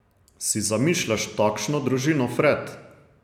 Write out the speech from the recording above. Si zamišljaš takšno družino, Fred?